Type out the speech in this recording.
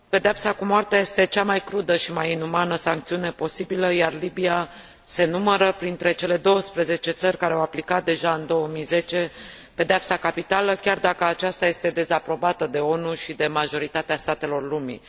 Pedeapsa cu moartea este cea mai crudă și mai inumană sancțiune posibilă, iar Libia se numără printre cele douăsprezece țări care au aplicat deja în 2010 pedeapsa capitală, chiar dacă aceasta este dezaprobată de ONU și de majoritatea statelor lumii.